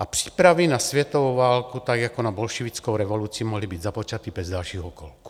A přípravy na světovou válku, tak jako na bolševickou revoluci, mohly být započaty bez dalších okolků.